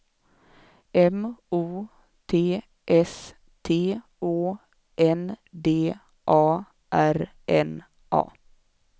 M O T S T Å N D A R N A